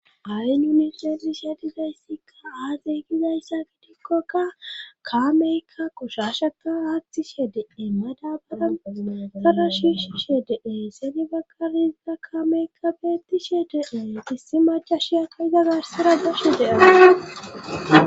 ay nunifedisha dizayssikka aazey gizayssa gidikkoka kaameykka koshashaka haattishe dee madabara magara shishishe dee seni bakarizza kaameykka beettishe dee gissi macha shiyakka iza garsira gafshe de7aa